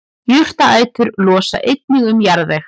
jurtaætur losa einnig um jarðveg